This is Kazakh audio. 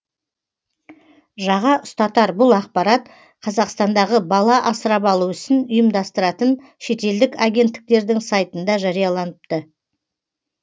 жаға ұстатар бұл ақпарат қазақстандағы бала асырап алу ісін ұйымдастыратын шетелдік агенттіктердің сайтында жарияланыпты